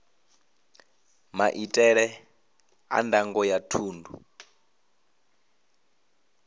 maitele a ndango ya thundu